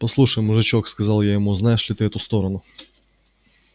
послушай мужичок сказал я ему знаешь ли ты эту сторону